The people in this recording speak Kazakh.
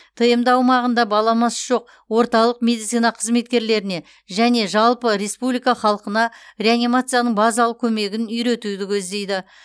тмд аумағында баламасы жоқ орталық медицина қызметкерлеріне және жалпы республика халқына реанимацияның базалық көмегін үйретуді көздейді